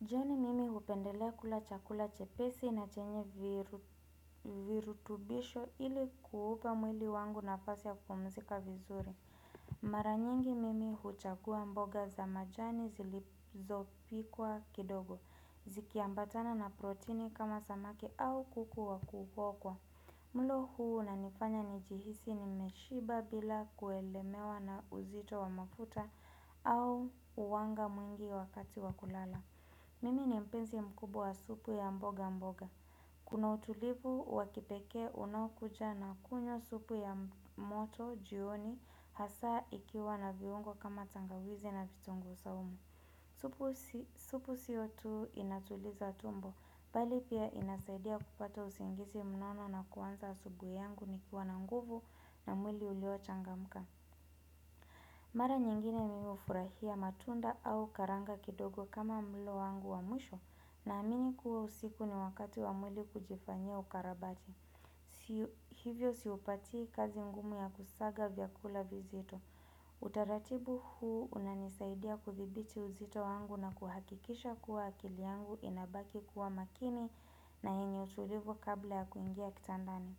Jioni mimi hupendelea kula chakula chepesi na chenye virutubisho ili kuupa mwili wangu nafasi ya kupumzika vizuri. Mara nyingi mimi huchagua mboga za majani zilizopikwa kidogo. Zikiambatana na protini kama samaki au kuku wa kuokwa. Mlo huu unanifanya nijihisi nimeshiba bila kulemewa na uzito wa mafuta au wanga mwingi wakati wa kulala. Mimi ni mpenzi mkubwa wa supu ya mboga mboga. Kuna utulivu wa kipekee unaokuja na kunywa supu ya moto jioni hasa ikiwa na viungo kama tangawizi na vitunguu saumu. Supu sio tu inatuliza tumbo, bali pia inasaidia kupata usingizi mnono na kuanza asubuhi yangu nikiwa na nguvu na mwili uliochangamka. Mara nyingine mimi hufurahia matunda au karanga kidogo kama mlo wangu wa mwisho naamini kuwa usiku ni wakati wa mwili kujifanyia ukarabati. Hivyo siupatii kazi ngumu ya kusaga vyakula vizito. Utaratibu huu unanisaidia kudhibiti uzito wangu na kuhakikisha kuwa akili yangu inabaki kuwa makini na yenye utulivu kabla ya kuingia kitandani.